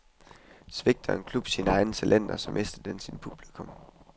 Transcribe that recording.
Svigter en klub sine egne talenter, så mister den sit publikum.